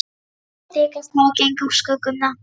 Þeir þykjast hafa gengið úr skugga um það.